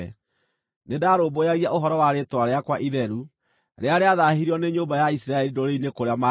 Nĩndarũmbũyagia ũhoro wa rĩĩtwa rĩakwa itheru, rĩrĩa rĩathaahirio nĩ nyũmba ya Isiraeli ndũrĩrĩ-inĩ kũrĩa maathiĩte.